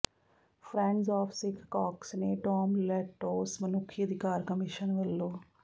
friends of Sikh caucus ਨੇ Tom Lantos ਮਨੁੱਖੀ ਅਧਿਕਾਰ ਕਮਿਸ਼ਨ ਵੱਲੋਂ